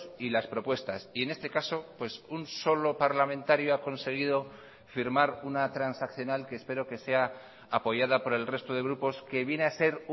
y las propuestas y en este caso un solo parlamentario ha conseguido firmar una transaccional que espero que sea apoyada por el resto de grupos que viene a ser